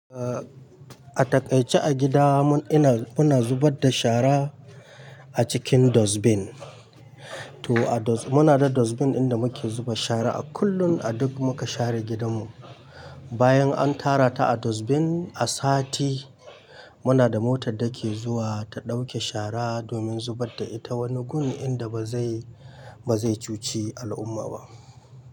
Ah, a taƙaice a gida mun ina muna zubad da shara, a cikin dustbin. To a doz, muna da dustbin ɗin da muke zuba shara a kullun, a duk muka share gidanmu. Bayan an tara ta a dustbin, a sati muna da motar da ke zuwa, ta ɗauke shara, domin zubar da ita wani gun inda ba zai, ba zai cuci al'umma ba.